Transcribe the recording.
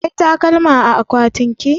Akwai takalma a akwatinki?